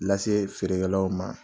Lase feerekɛlaw ma.